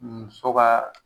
Muso ka